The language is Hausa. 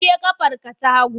Wanke ƙafarka ta hagu!